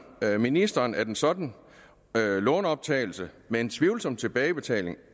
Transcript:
ministeren at en sådan lånoptagelse med en tvivlsom tilbagebetaling